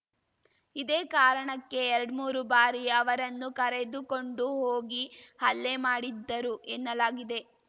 ಇದೇ ಕಾರಣಕ್ಕೆ ಎರಡ್ಮೂರು ಬಾರಿ ಅವರನ್ನು ಕರೆದುಕೊಂಡು ಹೋಗಿ ಹಲ್ಲೆ ಮಾಡಿದ್ದರು ಎನ್ನಲಾಗಿದೆ